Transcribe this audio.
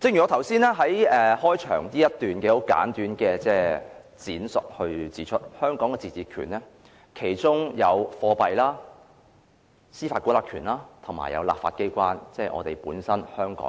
正如我剛才簡短闡述，香港的自治權有貨幣、司法管轄權及立法機關，即香港本身